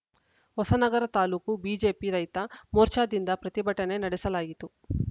Hosanagara taluk BJP ರೈತ ಮೋರ್ಚಾದಿಂದ ಪ್ರತಿಭಟನೆ ನಡೆಸಲಾಯಿತು